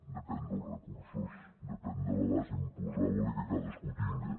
depèn dels recursos depèn de la base imposable que cadascú tingui